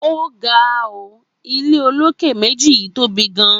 Óga óò, ile olókè méjì yíì tóbi gan